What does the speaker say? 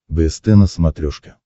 бст на смотрешке